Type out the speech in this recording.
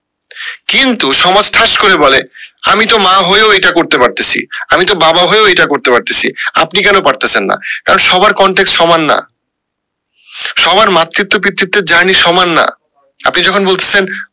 কিন্তু সমাজ ঠাস করে বলে আমি তো মা হয়ে ও এইটা করে পারতেসি আমি তো বাবা হয়েও এইটা করতে পারতেসি আপনি কেন পারতেসেন না কারণ সবার contact সমান না সবার মাতৃত্ব পিতৃত্বের journey সমান না আপনি যখন বলতেসেন